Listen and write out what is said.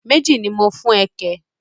Méjì ni mo ń fún ẹ kẹ̀?